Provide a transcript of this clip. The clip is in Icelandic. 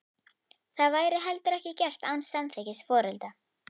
Það væri heldur ekki gert án samþykkis foreldra.